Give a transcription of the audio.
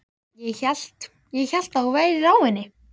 Ég hélt. ég hélt að þú værir á henni.